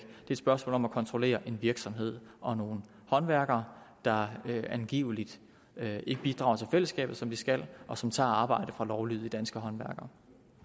et spørgsmål om at kontrollere en virksomhed og nogle håndværkere der angiveligt ikke bidrager til fællesskabet som de skal og som tager arbejde fra lovlydige danske håndværkere